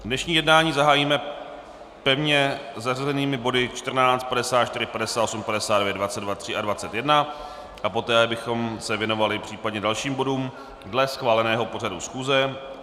Dnešní jednání zahájíme pevně zařazenými body 14, 54, 58, 59, 22, 3 a 21 a poté bychom se věnovali případně dalším bodům dle schváleného pořadu schůze.